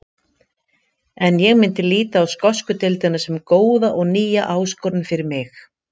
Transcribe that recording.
En ég myndi líta á skosku deildina sem góða og nýja áskorun fyrir mig.